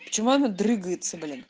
почему оно дрыгается блин